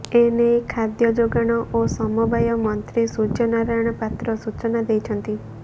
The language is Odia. ଏନେଇ ଖାଦ୍ୟ ଯୋଗାଣ ଓ ସମବାୟ ମନ୍ତ୍ରୀ ସୂର୍ୟ୍ୟ ନାରାୟଣ ପାତ୍ର ସୂଚନା ଦେଇଛନ୍ତି